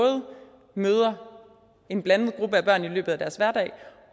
møder en blandet gruppe af børn i løbet af deres hverdag